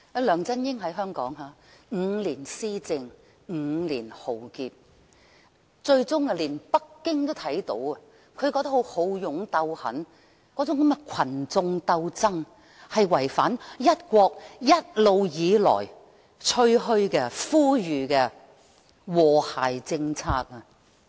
梁振英在香港施政5年，帶來5年浩劫，最終連北京也看到他那種好勇鬥狠性格和群眾鬥爭路線，是違反了在"一國"原則下一直以來吹噓和呼籲實行的和諧政策。